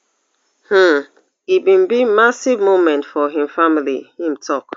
um e bin be massive moment for im family im tok